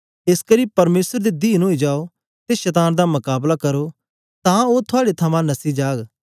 एसकरी परमेसर दे दीन ओई जाओ ते शतान दा मकाबला करो तां ओ थुआड़े थमां नस्सी जाग